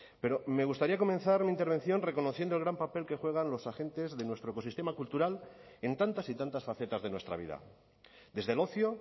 pero me gustaría comenzar mi intervención reconociendo el gran papel que juegan los agentes de nuestro ecosistema cultural en tantas y tantas facetas de nuestra vida desde el ocio